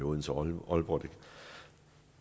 odense og aalborg